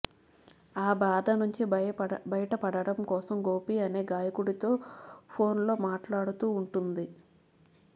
ఆ బాధ నుంచి బయటపడటం కోసం గోపి అనే గాయకుడితో ఫోన్ లో మాట్లాడుతూ ఉంటుంది